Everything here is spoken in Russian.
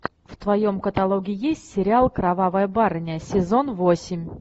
в твоем каталоге есть сериал кровавая барыня сезон восемь